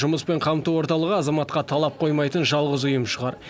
жұмыспен қамту орталығы азаматқа талап қоймайтын жалғыз ұйым шығар